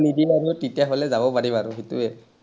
নিদিলে আমি তেতিয়া হ’লে যাব পাৰিম আৰু, সেইটোৱেই।